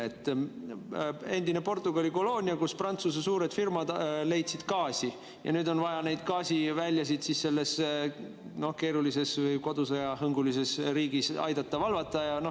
See on endine Portugali koloonia, kus Prantsuse suured firmad leidsid gaasi, ja nüüd on vaja neid gaasiväljasid selles keerulises kodusõjahõngulises riigis aidata valvata.